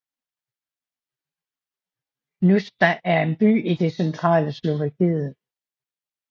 Hnúšťa er en by i det centrale Slovakiet